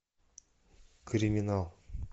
криминал